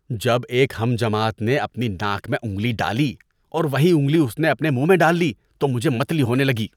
جب ایک ہم جماعت نے اپنی ناک میں انگلی ڈالی اور وہی انگلی اپنے منہ میں ڈال لی تو مجھے متلی ہونے لگی۔